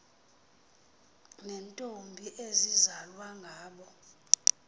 neentombi ezizalwa ngabo